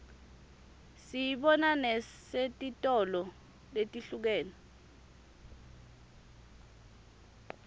siyibona nesetitolo letihlukene